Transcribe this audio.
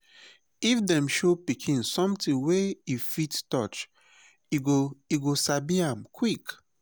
if dem show pikin something wey e fit touch e go e go sabi am quick.